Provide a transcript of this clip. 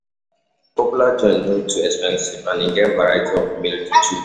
Popular joints no too expensive, and e get variety of meal to choose.